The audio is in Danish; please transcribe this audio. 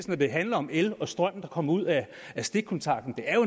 når det handler om el og strøm der kommer ud af stikkontakten jo